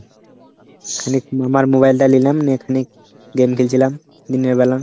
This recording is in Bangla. খালি আমার mobile টা নিলাম. নে খানিক game খেলছিলাম দিনের বেলা।